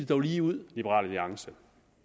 dog lige ud liberal alliance